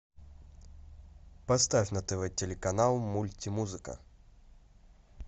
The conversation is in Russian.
поставь на тв телеканал мульти музыка